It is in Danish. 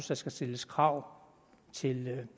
der skal stilles krav til